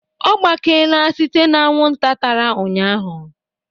Ọ gbakeela site na anwụnta tara ụnyahụ